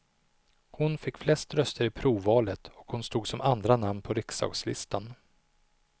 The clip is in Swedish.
Hon fick flest röster i provvalet, och hon stod som andra namn på riksdagslistan.